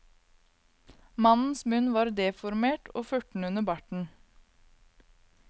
Mannens munn var deformert og furten under barten.